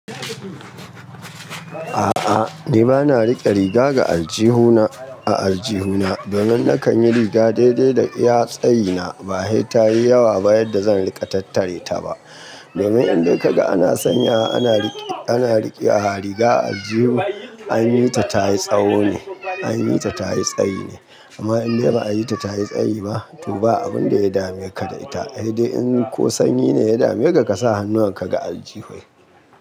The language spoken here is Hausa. A'a, ni ba na riƙe riga ga aljihuna a aljihuna domin na kan yi riga daidai da iya tsayi na ba he ta yi yawa ba yadda zan riƙa tattare ta ba. Domin idan ka ga ana sanya ana riƙe riga a aljihu an yi ta tayi tsawo ne, an yi ta tayi tsayi ne. Amma idan bai yi ta tayi tsayi ba, to ba abun da ya dame ka da ita. He dai in ko sanyi ne ya dame ka, ka sa hannuwan ka ga aljihu.